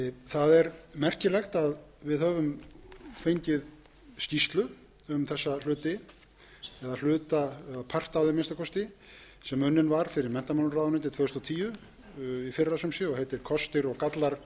það er merkilegt að við höfum fengið skýrslu um þessa hluti eða part af þeim að minnsta kosti sem unnin var fyrir menntamálaráðuneytið tvö þúsund og tíu í fyrra sumsé og heitir kostir og gallar